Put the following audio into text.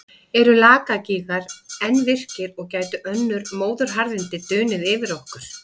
Eru Lakagígar enn virkir og gætu önnur móðuharðindi dunið yfir okkur?